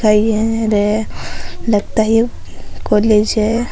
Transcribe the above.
लगता है ये कॉलेज है।